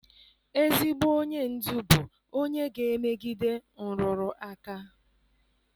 Ezigbo onye ndu bụ onye ga-emegide nrụrụ aka.